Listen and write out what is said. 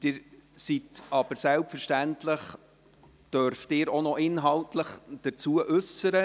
Selbstverständlich dürfen Sie sich aber auch noch inhaltlich dazu äussern.